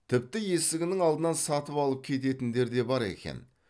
тіпті есігінің алдынан сатып алып кететіндер да бар екен